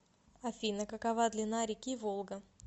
афина какова длина реки волга